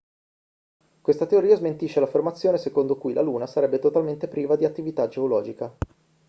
questa teoria smentisce l'affermazione secondo cui la luna sarebbe totalmente priva di attività geologica